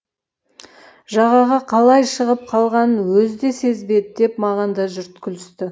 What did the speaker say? жағаға қалай шығып қалғанын өзі де сезбеді деп маған да жұрт күлісті